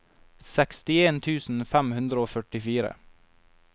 sekstien tusen fem hundre og førtifire